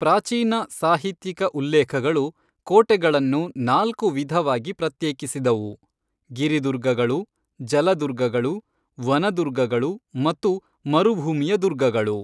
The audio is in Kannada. ಪ್ರಾಚೀನ ಸಾಹಿತ್ಯಿಕ ಉಲ್ಲೇಖಗಳು ಕೋಟೆಗಳನ್ನು ನಾಲ್ಕು ವಿಧವಾಗಿ ಪ್ರತ್ಯೇಕಿಸಿದವು ಗಿರಿ ದುರ್ಗಗಳು, ಜಲ ದುರ್ಗಗಳು, ವನ ದುರ್ಗಗಳು ಮತ್ತು ಮರುಭೂಮಿಯ ದುರ್ಗಗಳು.